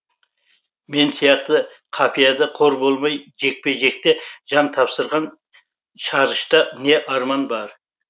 мен сияқты қапияда қор болмай жекпе жекте жан тапсырған шарышта не арман бар